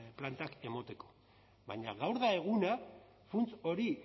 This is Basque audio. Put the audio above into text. plantak emateko baina gaur da eguna funts hori